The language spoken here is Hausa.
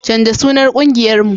canja sunan ƙungiyar mu